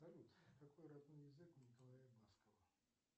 салют какой родной язык у николая баскова